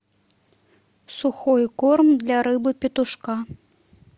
сухой корм для рыбы петушка